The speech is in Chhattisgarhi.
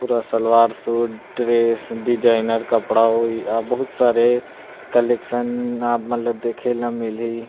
पूरा सलवार सूट ड्रेस डिजाइनर कपड़ा होइ आ बहुत सारे कलेक्शन आपमन ला देखेला मिली --